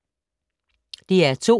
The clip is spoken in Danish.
DR2